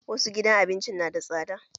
Wasu gidan abinci nada tsada